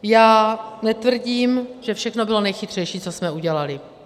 Já netvrdím, že všechno bylo nejchytřejší, co jsme udělali.